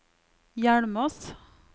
Hjelmås